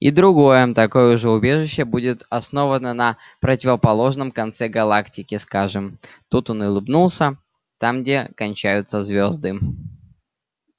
и другое такое же убежище будет основано на противоположном конце галактики скажем тут он улыбнулся там где кончаются звёзды